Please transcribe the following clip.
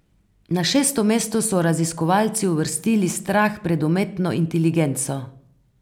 Na šesto mesto so raziskovalci uvrstili strah pred umetno inteligenco.